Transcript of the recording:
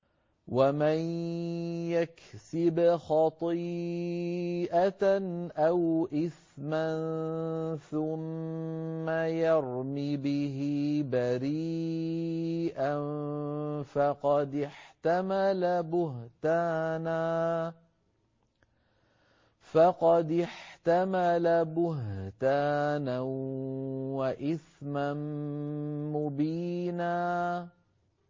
وَمَن يَكْسِبْ خَطِيئَةً أَوْ إِثْمًا ثُمَّ يَرْمِ بِهِ بَرِيئًا فَقَدِ احْتَمَلَ بُهْتَانًا وَإِثْمًا مُّبِينًا